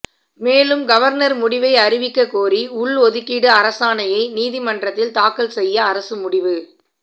மேலும் கவர்னர் முடிவை அறிவிக்க கோரி உள்ஒதுக்கீடு அரசாணையை நீதிமன்றத்தில் தாக்கல் செய்ய அரசு முடிவு